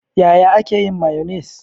Yaya ake yin mayonnaise?